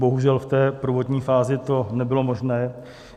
Bohužel v té prvotní fázi to nebylo možné.